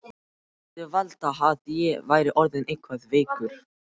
Hann mundi halda að ég væri orðinn eitthvað veikur.